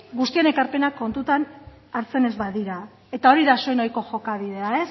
guztion ekarpenak kontutan hartzen ez badira eta hori da zuen ohiko jokabidea